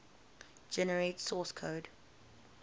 generate source code